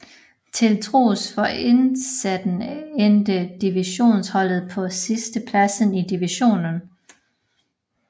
Til trods for indsatsen endte divisionsholdet på sidstepladsen i divisionen